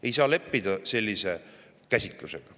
Ei saa leppida sellise käsitlusega.